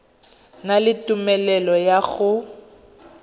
na le tumelelo ya go